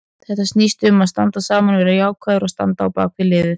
Þetta snýst um að standa saman, vera jákvæður og standa á bakvið liðið.